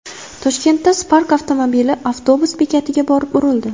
Toshkentda Spark avtomobili avtobus bekatiga borib urildi .